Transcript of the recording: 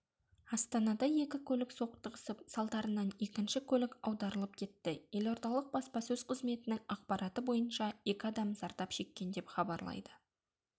астанада екі көлік соқтығысып салдарынан екінші көлік аударылып кетті елордалық баспасөз қызметінің ақпараты бойынша екі адам зардап шеккен деп хабарлайды